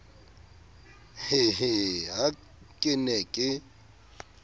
hehehe ha ke ne ke